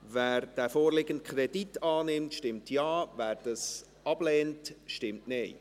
Wer den vorliegenden Kredit annimmt, stimmt Ja, wer dies ablehnt, stimmt Nein.